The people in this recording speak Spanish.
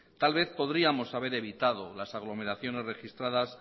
tal vez podríamos haber evitado las aglomeraciones registradas